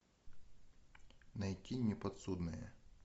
найти неподсудное